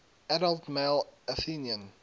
adult male athenian